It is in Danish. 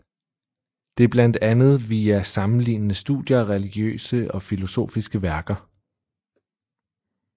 Det blandt andet via sammenlignende studier af religiøse og filosofiske værker